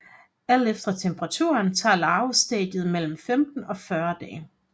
Alt efter temperaturen tager larvestadiet mellem 15 og 40 dage